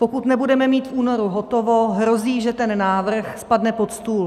Pokud nebudeme mít v únoru hotovo, hrozí, že ten návrh spadne pod stůl.